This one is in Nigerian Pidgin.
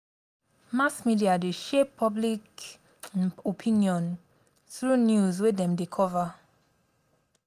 mass media dey shape public um opinion through news wey dem dey cover.